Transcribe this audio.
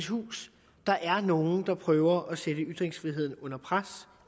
hus der er nogle der prøver at sætte ytringsfriheden under pres